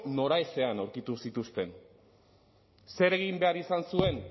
noraezean aurkitu zituzten zer egin behar izan zuen